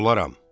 Olaram.